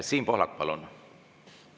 Siim Pohlak, palun!